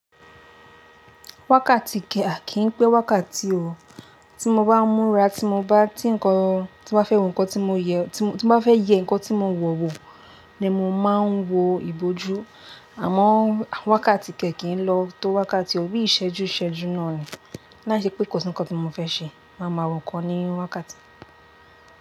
Wákàtí kẹ̀ à kìí pé wákàtí ò. Tí mo bá ń múra, tí mo bá, tí ǹkan, tí mo bá fẹ́ hun ǹkan, tí mo yẹ, tí mo bá fẹ́ yẹ ǹkan tí mo wọ̀ wò ni mo máa ń wo ìbòjú. Àmọ́ wákàtí kẹ̀ kì í lọ tó wákàtí ò bí ìṣẹ́jú ṣẹ́jú náà ni. Láì ṣe pé kò sí ǹkan tí mo fẹ́ ṣe, màá ma wo ǹkan ní wákàtí.